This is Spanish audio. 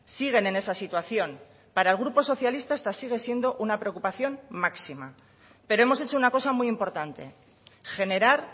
siguen en esa situación para el grupo socialista esta sigue siendo una preocupación máxima pero hemos hecho una cosa muy importante generar